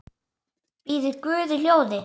Biður guð í hljóði.